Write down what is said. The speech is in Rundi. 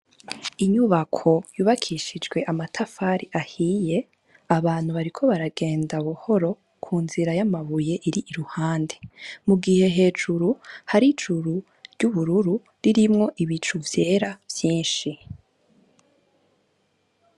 Inyubako yubakishijwe amatafari ahiye, abantu bariko baragenda buhoro kunzira y' amabuye iri iruhande, mugihe hejuru hari ijuru ry'ubururu ririmwo n'ibicu vyera vyinshi